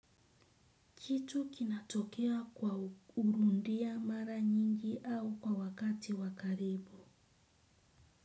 Kitu kinatokea kwa kurudia mara nyingi au kwa wakati wakaribu.